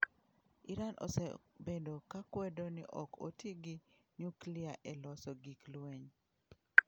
Iran osebedo ka kwedo ni ok oti gi nyuklia e loso gik lweny.